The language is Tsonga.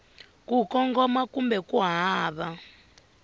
ku kongoma kumbe ku hava